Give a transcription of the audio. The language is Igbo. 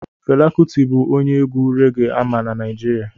Fela kuti bụ onye egwu reggae ama na Naịjirịa